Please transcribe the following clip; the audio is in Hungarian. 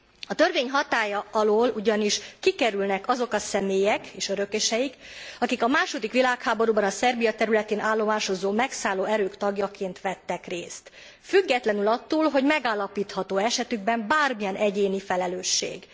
A törvény hatálya alól ugyanis kikerülnek azok a személyek és örököseik, akik a II. világháborúban a Szerbia területén állomásozó megszálló erők tagjaként vettek részt, függetlenül attól, hogy megállapítható e esetükben bármilyen egyéni felelősség.